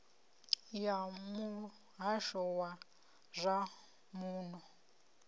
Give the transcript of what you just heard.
ya muhasho wa zwa muno